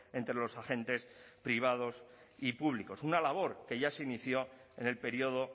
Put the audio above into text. entre los agentes privados y públicos una labor que ya se inició en el periodo